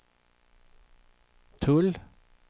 tull